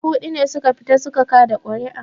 Mutum dubu huɗu ne su ka fita su ka kaɗa ƙuri'a